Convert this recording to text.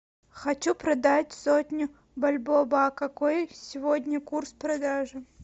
хочу продать сотню бальбоа какой сегодня курс продажи